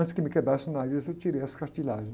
Antes que me quebrasse o nariz, eu tirei as cartilagens.